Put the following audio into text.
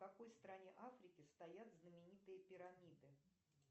в какой стране африки стоят знаменитые пирамиды